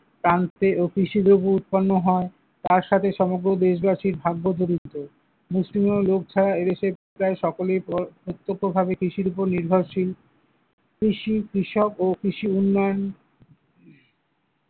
ক্রান্তি ও কৃষিদ্রব্য উৎপন্ন হয়, তার সাথে সমগ্র দেশবাসীর ভাগ্য জড়িত, মুষ্টিমেয় লোক ছাড়া এদেশে প্রায় সকলেই প্রত্যক্ষভাবে কৃষির উপর নির্ভরশীল, কৃষি কৃষক ও কৃষি উন্নয়ন ।